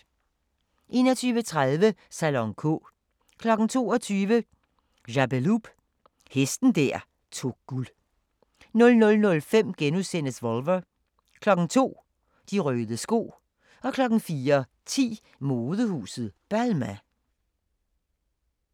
21:30: Salon K 22:00: Jappeloup – hesten der tog guld 00:05: Volver * 02:00: De røde sko 04:10: Modehuset Balmain